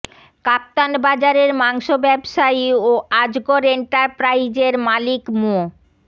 কাপ্তান বাজারের মাংস ব্যবসায়ী ও আজগর এন্টারপ্রাইজের মালিক মো